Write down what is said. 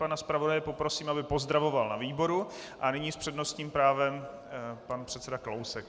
Pana zpravodaje poprosím, aby pozdravoval na výboru, a nyní s přednostním právem pan předseda Kalousek.